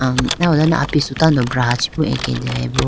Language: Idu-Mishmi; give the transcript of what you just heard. nam nawdane apisu tando brachiboo atedeyaboo.